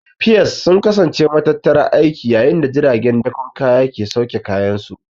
Piers sun kasance matattarar aiki yayin da jiragen dakon kaya ke sauke kayansu.